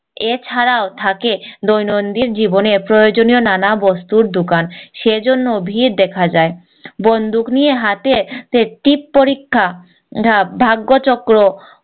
এ ছাড়াও থাকে দৈনন্দিন জীবনে প্রয়োজনীয় নানা বস্তুর দুকান সেই জন্য ভিড় দেখা যায় বন্দুক নিয়ে হাতে টিপ্ পরীক্ষা ভাগ্য চক্র